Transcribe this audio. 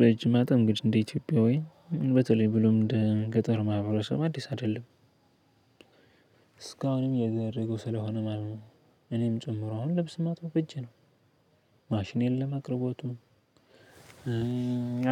በእጅ ማጠብ እንግድህ እንደ ኢትዮጵያዊ በተለይ ብሎም እንደ ገጠር ማህበረሰብ አዲስ አይደለም። እስካሁንም እያደረጉ ስለሆነ ማለት ነው እኔም ጭምር አሁንም ልብስ ማጥቦ በእጄ ነው ማሽን የለም አቅርቦቱ